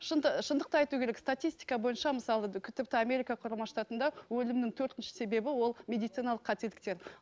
шындықты айту керек статистика бойынша мысалғы тіпті америка құрама штатында өлімнің төртінші себебі ол медициналық қателіктер